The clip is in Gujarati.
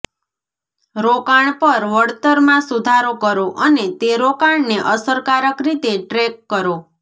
રોકાણ પર વળતરમાં સુધારો કરો અને તે રોકાણને અસરકારક રીતે ટ્રેક કરો